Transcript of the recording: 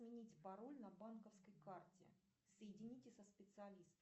изменить пароль на банковской карте соедините со специалистом